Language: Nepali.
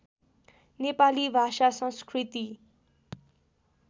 नेपाली भाषा संस्कृति